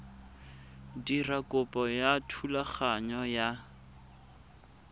dira kopo ya thulaganyo ya